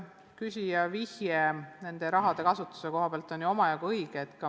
Küsija viide rahade kasutusele on ju omajagu õige.